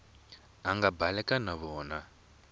a nga baleka na vona